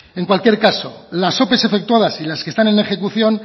en cualquier caso las ope efectuadas y las que están en ejecución